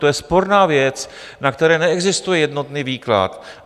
To je sporná věc, na kterou neexistuje jednotný výklad.